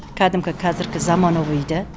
кәдімгі қазіргі заманауиді